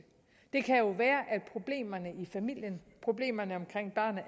det kan jo være at problemerne i familien problemerne omkring barnet